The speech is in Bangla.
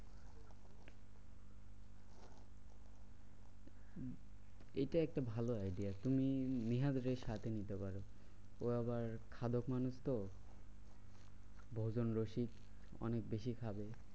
এইটা একটা ভালো idea. তুমি নিহাদ রে সাথে নিতে পারো। ও আবার খাদক মানুষ তো, ভোজন রসিক অনেক বেশি খাবে।